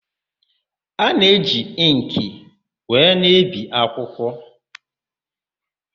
A na-eji ịnkị wee na-ebi akwụkwọ.